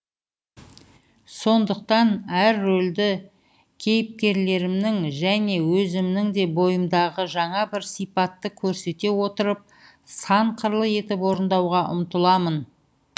сондықтан әр рөлде кейіпкерлерімнің және өзімнің де бойымдағы жаңа бір сипатты көрсете отырып сан қырлы етіп орындауға ұмтыламын